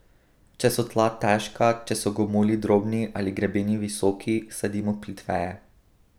Če so tla težka, če so gomolji drobni ali grebeni visoki, sadimo plitveje.